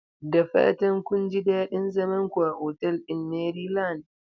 Da fatan kun ji daɗin zaman ku a otal ɗin Maryland?